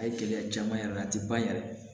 A ye gɛlɛya caman y'a la a ti ban yɛrɛ